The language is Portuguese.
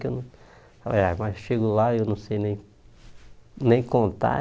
Que eu não, mas chego lá eu não sei nem nem contar.